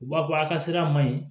U b'a fɔ a ka sira ma ɲi